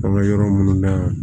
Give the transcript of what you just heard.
An ka yɔrɔ munnu na yan